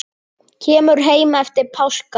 Kemur heim eftir páska.